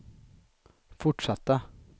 fortsatta